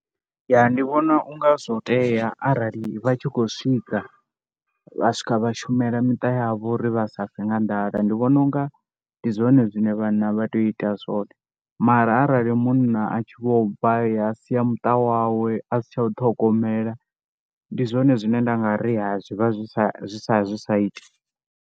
Ya ndi vhona u nga zwo tea arali vha tshi khou swika, vha swika vha shumela miṱa yavho uri vha sa fe nga nḓala. Ndi vhona u nga ndi zwone zwine vhanna vha tea u ita a zwone mara arali munna a tshi vho bva a ya a sia muṱa wawe a si tsha u ṱhogomela ndi zwone zwine nda nga ri ya zwi vha zwi sa, zwi sa, zwi sa iti.